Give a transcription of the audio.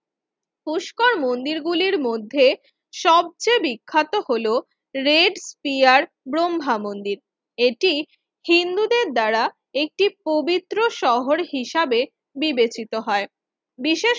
পুষ্কর মন্দির গুলির মধ্যে সবচেয়ে বিখ্যাত হল রেড স্পিয়ার ব্রহ্মা মন্দির এটি হিন্দুদের দ্বারা একটি প্রবিত্র শহর হিসাবে বিবেচিত হয় বিশেষ